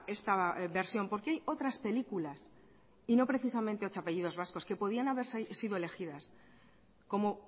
esta versión porque hay otras películas y no precisamente ocho apellidos vascos que podrían haber sido elegidas como